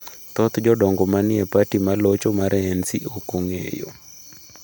Thoth jodongo ma ni e parti ma locho mar ANC ok ong’eyo.